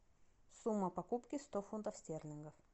сумма покупки сто фунтов стерлингов